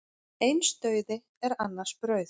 Eins dauði er annars brauð.